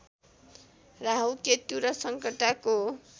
राहु केतु र सङ्कटाको